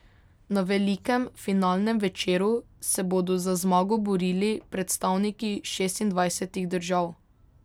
Na velikem finalnem večeru se bodo za zmago borili predstavniki šestindvajsetih držav.